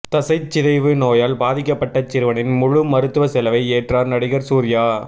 தசைச்சிதைவு நோயால் பாதிக்கப்பட்ட சிறுவனின் முழு மருத்துவ செலவை ஏற்றார் நடிகர் சூர்யா